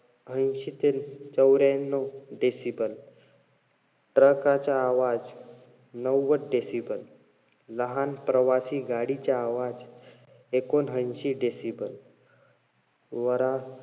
ऐंशी ते चौर्यांनव decible. truck चा आवाज नव्वद decible, लहान प्रवासी गाडीचा आवाज एकोणऐशी decible. वरात,